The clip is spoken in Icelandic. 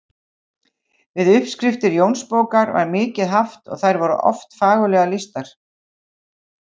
Við uppskriftir Jónsbókar var mikið haft og þær oft fagurlega lýstar.